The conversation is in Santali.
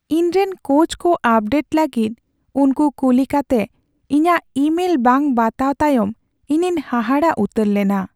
ᱤᱧ ᱨᱮᱱ ᱠᱳᱪᱠᱚ ᱟᱯᱰᱮᱴ ᱞᱟᱹᱜᱤᱫ ᱩᱱᱠᱩ ᱠᱩᱞᱤ ᱠᱟᱛᱮ ᱤᱧᱟᱹᱜ ᱤᱼᱢᱮᱞ ᱵᱟᱝ ᱵᱟᱛᱟᱣ ᱛᱟᱭᱚᱢ ᱤᱧᱤᱧ ᱦᱟᱦᱟᱲᱟᱜ ᱩᱛᱟᱹᱨ ᱞᱮᱱᱟ ᱾